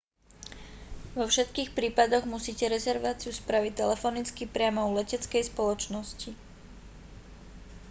vo všetkých prípadoch musíte rezerváciu spraviť telefonicky priamo u leteckej spoločnosti